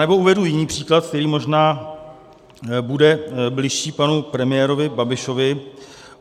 Anebo uvedu jiný příklad, který možná bude bližší panu premiérovi Babišovi.